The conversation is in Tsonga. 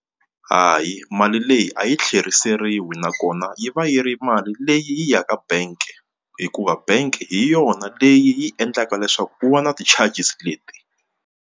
Hayi mali leyi a yi tlheriseriwi nakona yi va yi ri mali leyi yi ya ka bank hikuva bank hi yona leyi yi endlaka leswaku ku va na ti-charges leti.